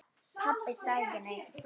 Pabbi sagði ekki neitt.